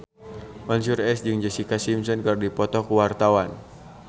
Mansyur S jeung Jessica Simpson keur dipoto ku wartawan